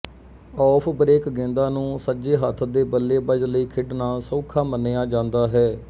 of break ਗੇਂਦਾਂ ਨੂੰ ਸੱਜੇ ਹੱਥ ਦੇ ਬੱਲੇਬਾਜ਼ ਲਈ ਖੇਡਣਾ ਸੌਖਾ ਮੰਨਿਆ ਜਾਂਦਾ ਹੈ